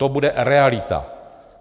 To bude realita.